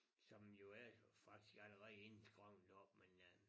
Som jo er jo faktisk allerede inde i skoven der oppe men øh